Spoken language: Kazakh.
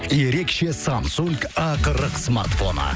ерекше самсунг а қырық смартфоны